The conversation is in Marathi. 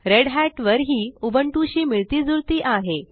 रेढत वर ही उबुंटू शी मिळतीजुळती आहे